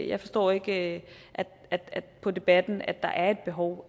jeg forstår ikke på debatten at der er et behov